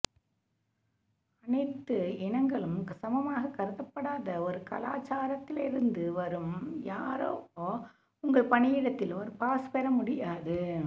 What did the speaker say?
அனைத்து இனங்களும் சமமாக கருதப்படாத ஒரு கலாச்சாரத்திலிருந்து வரும் யாரோ உங்கள் பணியிடத்தில் ஒரு பாஸ் பெற முடியாது